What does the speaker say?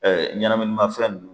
ɲɛnaminimafɛn nunnu